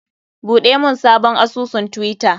Buɗe mun sabon asusun twitter!